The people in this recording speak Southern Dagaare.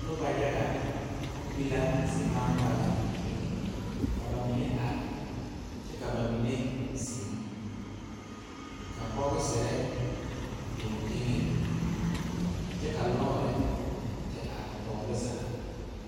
Noba yaga be la zigbaŋgbaleŋ ka ba mine are kyɛ ka ba mine zeŋ ka bɔgsere biŋ teŋɛŋ kyɛ ka lɔɔre te are tɔɔre zaa.